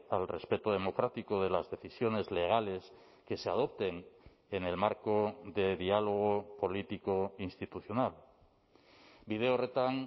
al respeto democrático de las decisiones legales que se adopten en el marco de diálogo político institucional bide horretan